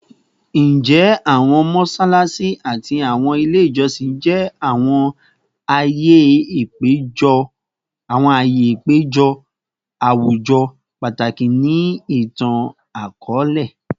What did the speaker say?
Njẹ awọn mọṣalaṣi ati awọn ile ijọsin jẹ awọn aaye apejọ awujọ pataki ni itan-akọọlẹ?